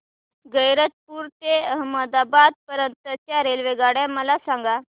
गैरतपुर ते अहमदाबाद पर्यंत च्या रेल्वेगाड्या मला सांगा